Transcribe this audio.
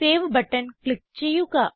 save button click ചെയ്യുക